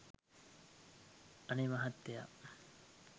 අනේ මහත්තයා